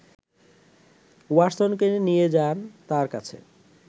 ওয়াটসনকে নিয়ে যান তাঁর কাছে